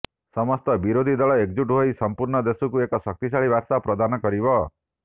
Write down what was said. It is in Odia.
ସମସ୍ତ ବିରୋଧୀ ଦଳ ଏକଜୁଟ ହୋଇ ସମ୍ପୂର୍ଣ୍ଣ ଦେଶକୁ ଏକ ଶକ୍ତିଶାଳୀ ବାର୍ତ୍ତା ପ୍ରଦାନ କରିବ